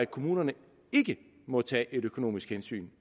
kommunerne ikke måtte tage et økonomisk hensyn